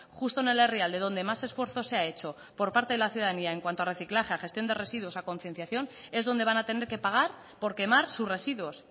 justo en el herrialde donde más esfuerzo se ha hecho por parte de la ciudadanía en cuanto a reciclaje a gestión de residuos a concienciación es donde van a tener que pagar por quemar sus residuos